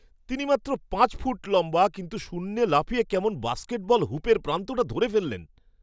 তিনি মাত্র পাঁচ ফুট লম্বা, কিন্তু শূন্যে লাফিয়ে কেমন বাস্কেটবল হুপের প্রান্তটা ধরে ফেললেন!